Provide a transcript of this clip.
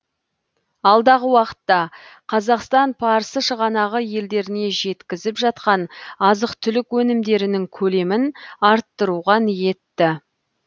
алдағы уақытта қазақстан парсы шығанағы елдеріне жеткізіп жатқан азық түлік өнімдерінің көлемін арттыруға ниетті